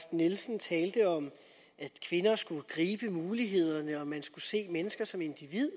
nielsen talte om at kvinder skulle gribe mulighederne og at man skulle se mennesker som individer